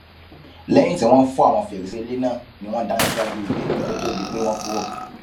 lẹyìn tí wọn fọ àwọn fèrèsé ilé náà ni wọn dáná síwájú ibẹ kó tóó di pé wọn kúrò